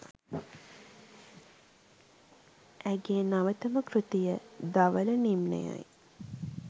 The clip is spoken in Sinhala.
ඇය ගේ නවතම කෘතිය "ධවල නිම්නය" යි.